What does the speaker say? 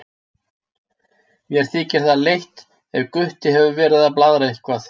Mér þykir það leitt ef Gutti hefur verið að blaðra eitthvað.